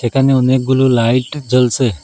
এখানে অনেকগুলো লাইট জ্বলসে ।